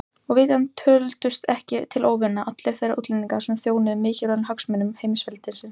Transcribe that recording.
Og vitanlega töldust ekki til óvina allir þeir útlendingar sem þjónuðu mikilvægum hagsmunum heimsveldisins.